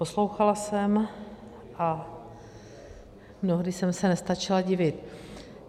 Poslouchala jsem a mnohdy jsem se nestačila divit.